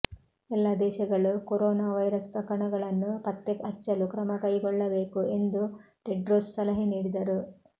ಎಲ್ಲಾ ದೇಶಗಳು corona virus ಪ್ರಕರಣಗಳನ್ನು ಪತ್ತೆ ಹಚ್ಚಲು ಕ್ರಮ ಕೈಗೊಳ್ಳಬೇಕು ಎಂದು ಟೆಡ್ರೋಸ್ ಸಲಹೆ ನೀಡಿದರು